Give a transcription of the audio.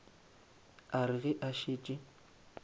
a re ge a šetše